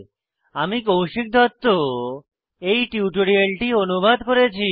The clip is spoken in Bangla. আমি কৌশিক দত্ত এই টিউটোরিয়ালটি অনুবাদ করেছি